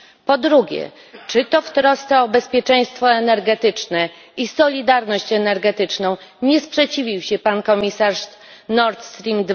Po drugie, czy to w trosce o bezpieczeństwo energetyczne i solidarność energetyczną, nie sprzeciwił się pan komisarz wobec Nord Stream